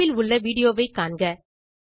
தொடுப்பில் உள்ள விடியோ வை காண்க